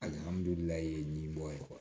Alihamudulila nin bɔ ye